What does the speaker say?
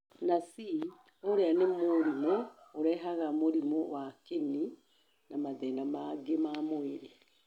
na C, ũrĩa nĩ mũrimũ ũrehaga mũrimũ wa kĩni na mathĩna mangĩ ma mwĩrĩ.